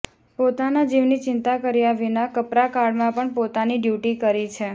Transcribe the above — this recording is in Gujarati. પોતાના જીવની ચિંતા કર્યા વિના કપરા કાળમાં પણ પોતાની ડ્યૂટી કરી છે